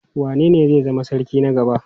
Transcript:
Wanene zai zama sarki na gaba?